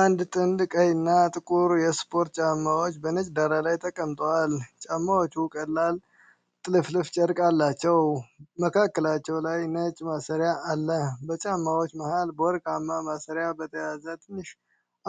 አንድ ጥንድ ቀይ እና ጥቁር የስፖርት ጫማዎች በነጭ ዳራ ላይ ተቀምጠዋል። ጫማዎቹ ቀላል ጥልፍልፍ ጨርቅ አላቸው፤ መካከላቸው ላይም ነጭ ማሰሪያ አለ። በጫማዎቹ መሃል፣ በወርቃማ ማሰሪያ በተያዘ ትንሽ